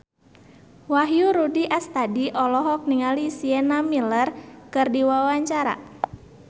Wahyu Rudi Astadi olohok ningali Sienna Miller keur diwawancara